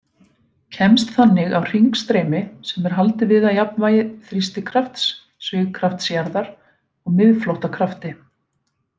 Kemst þannig á hringstreymi sem er haldið við af jafnvægi þrýstikrafts, svigkrafts jarðar og miðflóttakrafti.